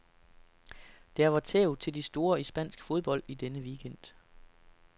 Der var tæv til de store i spansk fodbold i denne weekend.